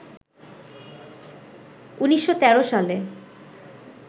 ১৯১৩ সালে